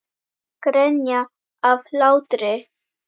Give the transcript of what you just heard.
Grenja af hlátri.